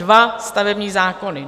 Dva stavební zákony!